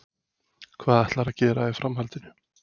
Hvað ætlarðu að gera í framhaldinu?